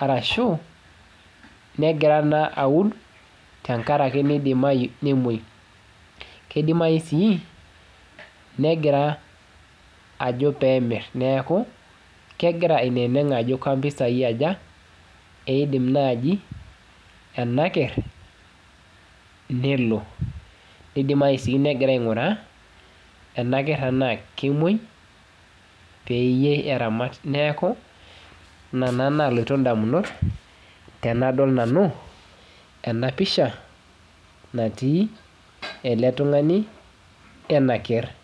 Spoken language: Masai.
ashuu keidimayu negira naaji aun aa keidimayu nemuoi, keidimayu sii negira ajo pee mirr negira aineneng ajo kempisai aja idim naaji ena kerr nelo, neidimayu negira aing'uraa ena kerr tenaa kemuoi peyiee eramat. Neeku ina nalotu ndamunot aainei, tenadol nanu enapisha natii ele tung'ani wena kerr.